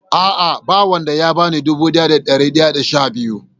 A'a na wan da ya bani dubu daya da dari daya da sha biyu.